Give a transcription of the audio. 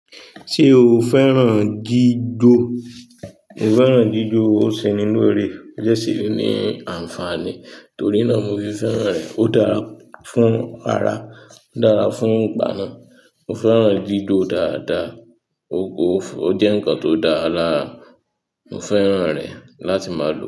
Ṣé o fẹ́ràn jijo? Mo fẹ́ràn jijo, ó seni lòrè, ó jẹ́ sì ni ànfàní torí náà mo fi fẹ́ràn rẹ̀. Ó dára fún ara, ó dára fún ìgbáná. Mo fẹ́ràn gídò dáadáa, ó kó, ó jẹ́ ǹkan tó dára lára, mo fẹ́ràn rẹ̀ láti máa lò ó.